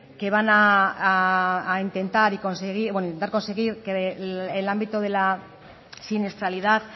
que van a intentar y conseguir bueno intentar conseguir que el ámbito de la siniestralidad